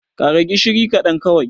ƙara gishiri kaɗan kawai!